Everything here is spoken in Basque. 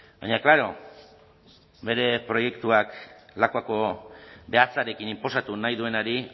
baina klaro bere proiektuak lakuako behatzarekin inposatu nahi duenari